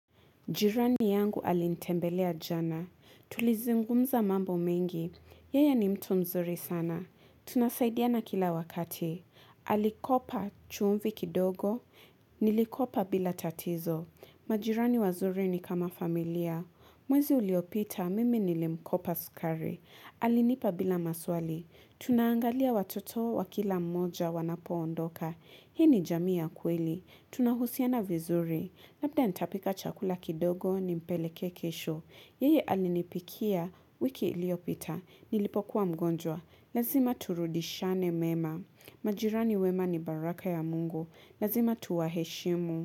Jirani yangu alinitembelea jana. Tulizungumza mambo mingi. Yeye ni mtu mzuri sana. Tunasaidiana kila wakati. Alikopa chumvi kidogo. Nilikopa bila tatizo. Majirani wazuri ni kama familia. Mwezi uliopita mimi nilimkopa sukari. Alinipa bila maswali. Tunaangalia watoto wa kila mmoja wanapo ondoka. Hii ni jamii ya kweli. Tunahusiana vizuri. Labda nitapika chakula kidogo nimpele kesho. Yeye alinipikia wiki ilio pita. Nilipokuwa mgonjwa. Lazima turudishane mema. Majirani wema ni baraka ya mungu. Lazima tuwaheshimu.